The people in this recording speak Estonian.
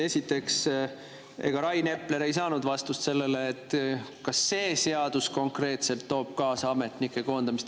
Esiteks, Rain Epler ei saanud vastust sellele, kas see seadus toob kaasa konkreetselt ametnike koondamist.